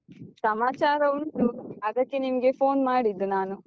ಸಮಾಚಾರ ಉಂಟು ಅದಕ್ಕೆ ನಿಮ್ಗೆ phone ಮಾಡಿದ್ದು ನಾನು.